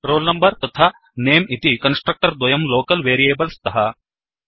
roll number तथा नमे इति कन्स्ट्रक्टर् द्वयं लोकल् वेरियेबल् स्तः